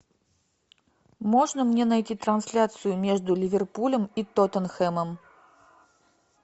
можно мне найти трансляцию между ливерпулем и тоттенхэмом